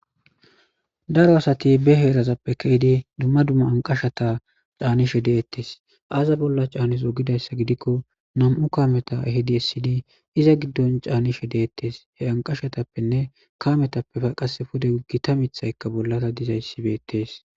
Daro asati ba heerezappe deid dumma dumma aniqashshata canidi detees aza bola canizo gizayisa gidikko namu kameta ehid esidi eza giddoni canishshe detees gusakko